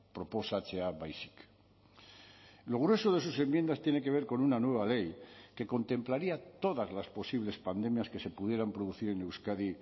proposatzea baizik lo grueso de sus enmiendas tiene que ver con una nueva ley que contemplaría todas las posibles pandemias que se pudieran producir en euskadi